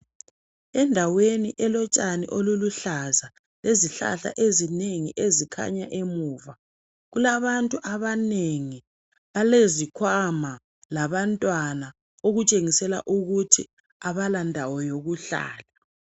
Endaweni elotshani oluluhlaza lezihlahla ezinengi ezikhanya emuva kulabantu abanengi balezikhwama labantwana okutshengisela ukuthi abalandawo yokuhlala.